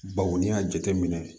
Baw n'i y'a jateminɛ